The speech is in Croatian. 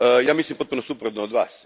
Ja mislim potpuno suprotno od Vas.